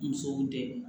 Musow dɛmɛ